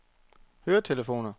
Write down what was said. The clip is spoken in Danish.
høretelefoner